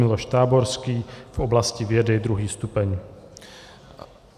Miloš Táborský v oblasti vědy, 2. stupeň.